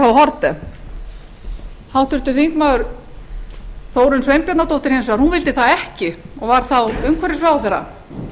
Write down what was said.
haarde háttvirtur þingmaður þórunn sveinbjarnardóttir hins vegar vildi það ekki og var þá umhverfisráðherra